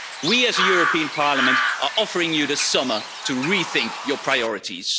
We as a European Parliament are offering you this summer to rethink your priorities.